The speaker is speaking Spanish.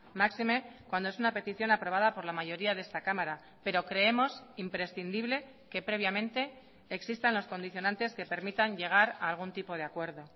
máxime cuando es una petición aprobada por la mayoría de esta cámara pero creemos imprescindible que previamente existan los condicionantes que permitan llegar a algún tipo de acuerdo